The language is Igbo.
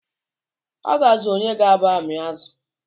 A ga-azụ̣ onye ga-aba ami azụ